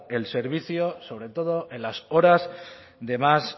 el servicio sobre todo en las horas de más